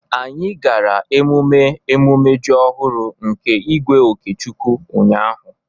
anyi gara emume emume ji ọhụrụ nke igwe okechukwu ụnyahụ